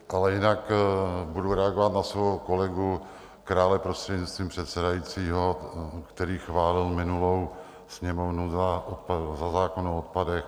Ale jinak budu reagovat na svého kolegu Krále, prostřednictvím předsedajícího, který chválil minulou Sněmovnu za zákon o odpadech.